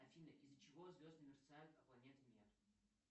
афина из за чего звезды мерцают а планеты нет